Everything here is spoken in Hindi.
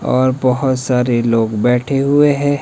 और बहोत सारे लोग बैठे हुए हैं।